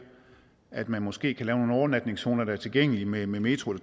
at man måske kan lave nogle overnatningszoner der er tilgængelige med metro